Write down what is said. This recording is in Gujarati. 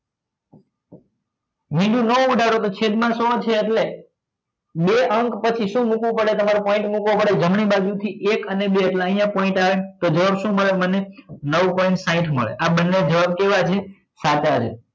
મીંડું નો ઉડાડો તો છેદ માં સો છે એટલે બે અંક પછી તમારે શું મુકવું પડે તમારે point મુકવો પડે જમણી બાજુ થી એક અને બે એટલે આટલે point આવે તો જવાબ શું મળે મને નવ point સાહીંઠ મળે આ બંને જવાબ કેવા છે સાચા છે